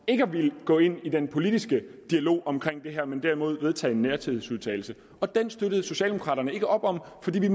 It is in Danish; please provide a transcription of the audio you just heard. ikke at ville gå ind i den politiske dialog om det her men derimod at vedtage en nærhedsudtalelse og den støttede socialdemokraterne ikke op om fordi vi